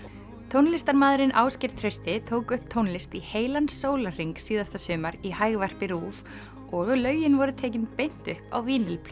tónlistarmaðurinn Ásgeir Trausti tók upp tónlist í heilan sólarhring síðasta sumar í Hægvarpi RÚV og lögin voru tekin beint upp á